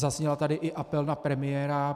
Zazněl tady i apel na premiéra.